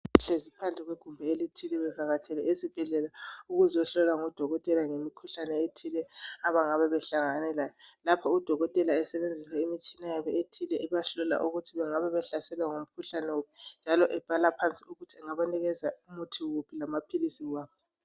Behlezi phandle kwe gumbi elithile bevakatshele esibhedlela bezohlolwa ngudokotela ngemikhuhlane ethile abayabe behlangene layo njalo udokotela lapho udokotela esebenzisa imitshina yabo ethile ebehlola ukuthi bangabehlaselwa ngumkhuhlane wuphi ebhala phansi ukuthi singabanikeza umuthi wuphi lamaphilisi waphi.